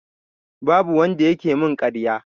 Babu wanda yake min ƙarya.